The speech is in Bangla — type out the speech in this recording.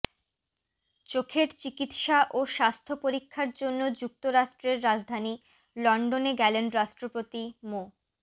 চোখের চিকিৎসা ও স্বাস্থ্য পরীক্ষার জন্য যুক্তরাজ্যের রাজধানী লন্ডনে গেলেন রাষ্ট্রপতি মো